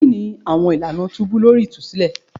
Kini awọn ilana tubu lori itusilẹ?